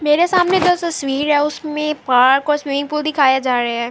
مرے سامنے دو تشویر ہے۔ اسمے پارک اور سوئمنگ پول دکھایا جا رہا ہے۔